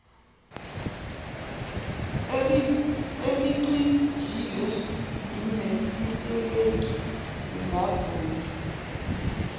elicijile nesitelingi singavumi